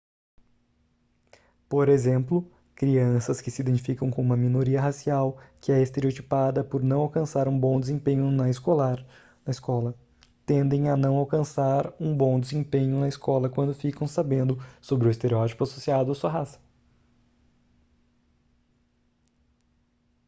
por exemplo crianças que se identificam com uma minoria racial que é estereotipada por não alcançar um bom desempenho na escola tendem a não alcançar um bom desempenho na escola quando ficam sabendo sobre o estereótipo associado à sua raça